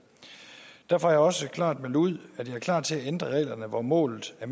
derfor har jeg også klart meldt ud at jeg er klar til at ændre reglerne hvor målet er